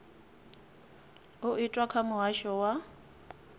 u itwa kha muhasho wa